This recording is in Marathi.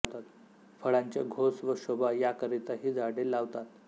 फळांचे घोस व शोभा यांकरिता ही झाडे लावतात